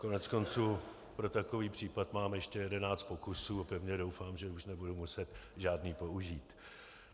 Koneckonců pro takový případ mám ještě jedenáct pokusů a pevně doufám, že už nebudu muset žádný použít.